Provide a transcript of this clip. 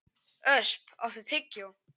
Ösp, áttu tyggjó?